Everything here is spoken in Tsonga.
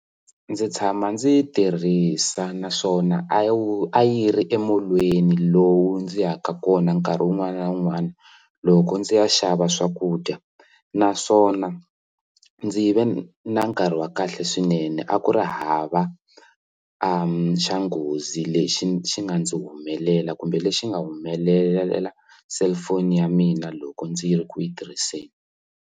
Ndzi tshama ndzi yi tirhisa naswona a wu a yi ri emilolweni lowu ndzi yaka kona nkarhi wun'wana na wun'wana loko ndzi ya xava swakudya naswona ndzi yi ve na nkarhi wa kahle swinene a ku ri hava xa nghozi lexi xi nga ndzi humelela kumbe lexi nga humelela cellphone ya mina loko ndzi ri ku yi tirhiseni.